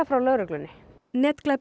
frá lögreglunni